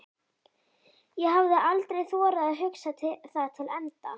ég hafði aldrei þorað að hugsa það til enda.